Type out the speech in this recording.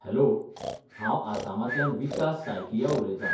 Hello! हांव आसामांतल्यान विकास सायकिया उलयतां.